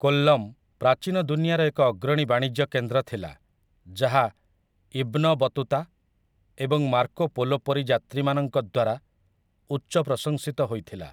କୋଲ୍ଲମ୍ ପ୍ରାଚୀନ ଦୁନିଆର ଏକ ଅଗ୍ରଣୀ ବାଣିଜ୍ୟ କେନ୍ଦ୍ର ଥିଲା, ଯାହା ଇବ୍ନ ବତୁତା ଏବଂ ମାର୍କୋ ପୋଲୋ ପରି ଯାତ୍ରୀମାନଙ୍କ ଦ୍ୱାରା ଉଚ୍ଚ ପ୍ରଶଂସିତ ହୋଇଥିଲା ।